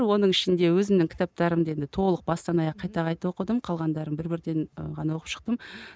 оның ішінде өзімнің кітаптарымды енді толық бастан аяқ қайта қайта оқыдым қалғандарын бір бірден і ғана оқып шықтым